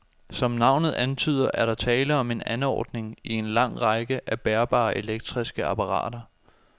Som navnet antyder, er der tale om en anordning i en lang række af bærbare elektriske apparater.